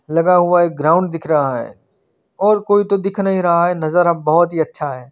लगा हुआ एक ग्राउंड दिख रहा है और कोई तो दिख नही रहा है नजारा बहुत ही अच्छा है।